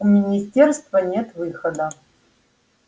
у министерства нет выхода